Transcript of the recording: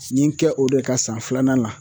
N ye n kɛ o de ka san filanan la.